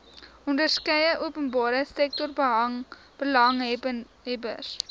onderskeie openbare sektorbelanghebbers